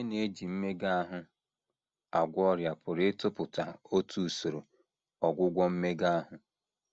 Onye na - eji mmega ahụ agwọ ọrịa pụrụ ịtụpụta otu usoro ọgwụgwọ mmega ahụ.